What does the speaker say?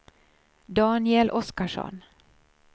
Daniel Oskarsson